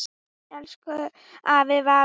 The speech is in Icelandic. Elsku afi Valur.